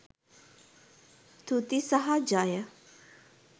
තුති සහ ජය!